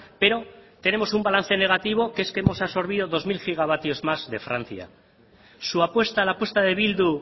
pero tenemos un balance negativo que es que hemos absorbido dos mil gigavatios más de francia su apuesta la apuesta de bildu